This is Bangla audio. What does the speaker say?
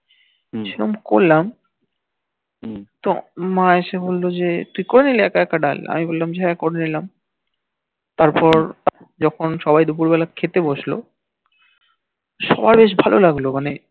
হম করলাম তো মা এসে বলল যে তুই করলি একা একা ডাল তো বললাম যে হাঁ করে নিলাম তারপর যখন সবাই দুপুর বেলায় খেতে বসলো সবার বেশ ভাল লাগলো মানে